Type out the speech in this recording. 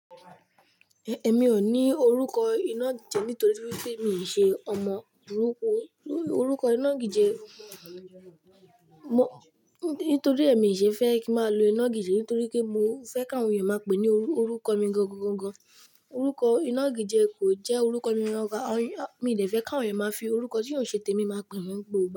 Ẹ̀, ẹmi ò ní orúkọ iná gíjẹ nítorí pé míì ṣe ọmọ burúkú. Orúkọ iná gíjẹ, mo, nítorí ẹmi ì ṣe fẹ́ kí a máa lo iná gíjẹ nítorí pé mo fẹ́ káwọn ènìyàn máa pè ní orúkọ mi gangan. Orúkọ iná gíjẹ kò jẹ́ orúkọ mí. Mi lè fẹ́ káwọn ènìyàn máa fi orúkọ tí ò ṣe tèmi máa pè mí gbogbo.